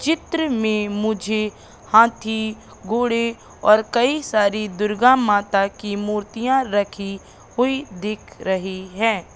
चित्र में मुझे हाथी घोड़े और कई सारी दुर्गा माता की मूर्तियां रखी हुई दिख रही हैं।